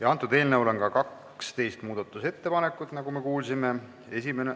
Eelnõu kohta on tehtud ka 12 muudatusettepanekut, nagu me kuulsime.